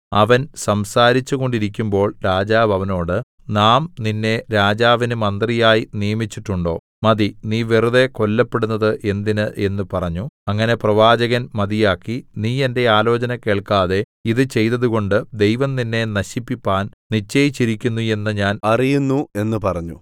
അവൻ സംസാരിച്ചു കൊണ്ടിരിക്കുമ്പോൾ രാജാവ് അവനോട് നാം നിന്നെ രാജാവിന് മന്ത്രിയായി നിയമിച്ചിട്ടുണ്ടോ മതി നീ വെറുതെ കൊല്ലപ്പെടുന്നത് എന്തിന് എന്ന് പറഞ്ഞു അങ്ങനെ പ്രവാചകൻ മതിയാക്കി നീ എന്റെ ആലോചന കേൾക്കാതെ ഇത് ചെയ്തതുകൊണ്ട് ദൈവം നിന്നെ നശിപ്പിപ്പാൻ നിശ്ചയിച്ചിരിക്കുന്നു എന്ന് ഞാൻ അറിയുന്നു എന്ന് പറഞ്ഞു